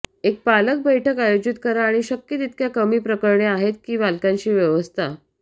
एक पालक बैठक आयोजित करा आणि शक्य तितक्या कमी प्रकरणे आहेत की पालकांशी व्यवस्था